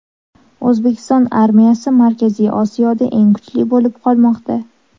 O‘zbekiston armiyasi Markaziy Osiyoda eng kuchli bo‘lib qolmoqda .